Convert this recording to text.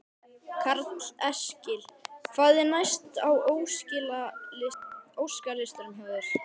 Karl Eskil: Hvað er næst á óskalistanum hjá þér?